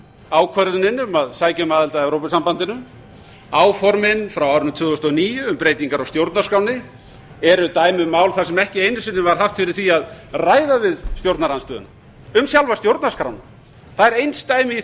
ákvörðunin um að sækja um aðild að evrópusambandinu áformin frá árinu tvö þúsund og níu um breytingar á stjórnarskránni eru dæmi um mál þar sem ekki einu sinni var haft fyrir því að ræða við stjórnarandstöðuna um sjálfa stjórnarskrána það er einsdæmi